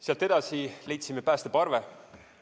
Sealt edasi leidsime päästeparve.